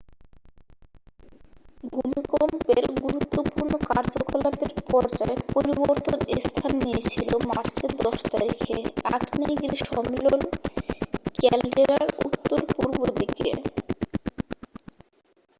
ভূমিকম্পের গুরুত্বপূর্ণ কার্যকলাপের পর্যায় পরিবর্তন স্থান নিয়েছিল মার্চের 10 তারিখে আগ্নেয়গিরি সম্মেলন ক্যালডেরার উত্তর পূর্ব দিকে